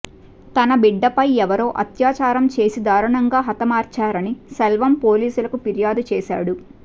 తన బిడ్డపై ఎవరో అత్యాచారం చేసి దారుణంగా హతమార్చారని సెల్వం పోలీసులకు ఫిర్యాదు చేశాడు